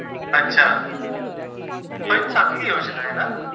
अच्छा. पण चांगली योजना आहे ना?